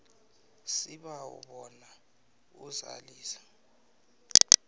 sibawa bona uzalise